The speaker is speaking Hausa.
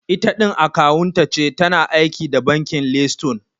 Itaɗin akawunta ce, tana aiki da bankin leystone